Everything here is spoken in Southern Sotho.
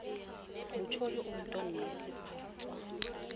motjodi o tono se sephatswa